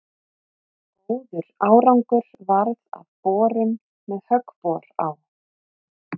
Góður árangur varð af borun með höggbor á